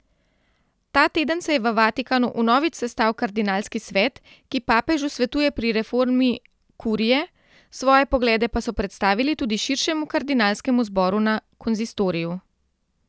Ta teden se je v Vatikanu vnovič sestal kardinalski svet, ki papežu svetuje pri reformi kurije, svoje poglede pa so predstavili tudi širšemu kardinalskemu zboru na konzistoriju.